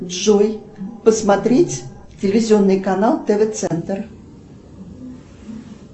джой посмотреть телевизионный канал тв центр